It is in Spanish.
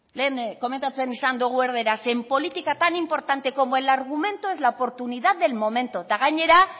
lehen komentatzen izan dugu erdaraz en política tan importante como el argumento es la oportunidad del momento eta gainera